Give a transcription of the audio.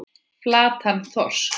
Flattan þorsk.